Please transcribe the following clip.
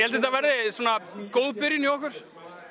þetta verði góð byrjun hjá okkur